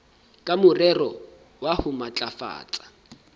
ka morero wa ho matlafatsa